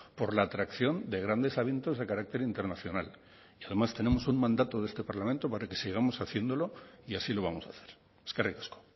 por la atracción de grandes eventos de carácter internacional además tenemos un mandato de este parlamento para que sigamos haciéndolo y así lo vamos a hacer eskerrik asko